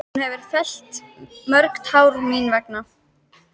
Hún hefur fellt mörg tár mín vegna.